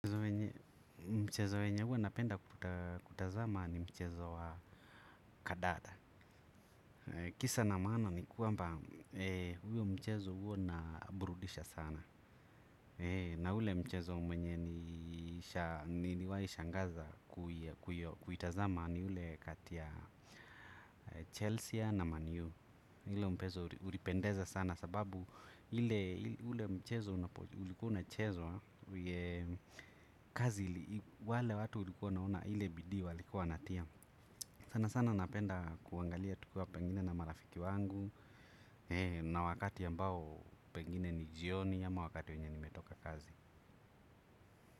Mchezo wenye huwa napenda kutazama ni mchezo wa kandanda. Kisa na maana ni kwamba mchezo huo huwa unaburudisha sana. Na ule mchezo ambao niliwahi shangaza kuutazama ni ule kati ya Chelsea na Man U. Ule mchezo ulipendeza sana sababu ule mchezo ulikuwa unachezwa. Kazi wale watu ulikuwa naona ile bidii walikuwa wanatia sana sana napenda kuangalia tukiwa pengine na marafiki wangu. Na wakati ambao pengine ni jioni ama wakati wenye nimetoka kazi.